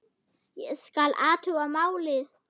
Ég skal athuga málið